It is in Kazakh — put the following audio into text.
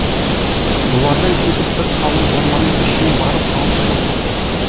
бұлардан кетіп бір қалың орманның ішіне барып алты жыл тұрды